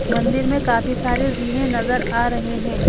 मंदिर में काफी सारे जीने नजर आ रहे हैं।